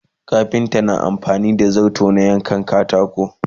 kafinta na amfani da zarto ya yanka katako